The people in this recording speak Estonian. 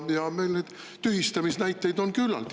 Meil neid tühistamise näiteid on küllalt.